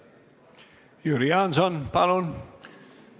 Jüri Jaanson, palun!